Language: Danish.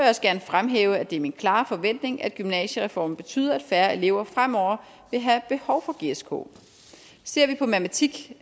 også gerne fremhæve at det er min klare forventning at gymnasiereformen betyder at færre elever fremover vil have behov for gsk ser vi på matematik